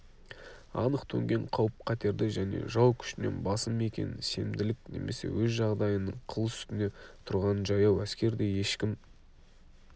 анық төнген қауіп-қатерді және жау күшінен басым екенін сенімділік немесе өз жағдайының қыл үстінде тұрғанын жаяу әскердей ешкім